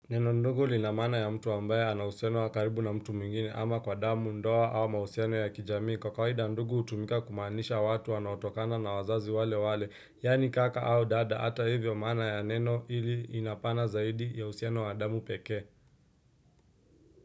Neno ndugu lina maana ya mtu ambaye anauhusiano wa karibu na mtu mwingine ama kwa damu, ndoa au mahusiano ya kijamii. Kwa kawaida ndugu hutumika kumaanisha watu wanaotokana na wazazi wale wale, yaani kaka au dada. Hata hivyo maana ya neno hili inapana zaidi ya uhusiano wa damu pekee.